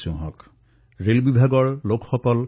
আমাৰ ৰেলৱেৰ বন্ধুসকলে অহৰ্নিশে প্ৰয়াস কৰি আছে